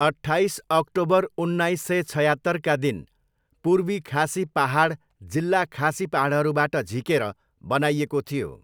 अट्ठाइस अक्टोबर उन्नाइस सय छयात्तरका दिन पूर्वी खासी पाहाड जिल्ला खासी पाहाडहरूबाट झिकेर बनाइएको थियो।